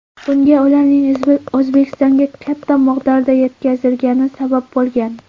Bunga ularning O‘zbekistonga katta miqdorda yetkazilgani sabab bo‘lgan .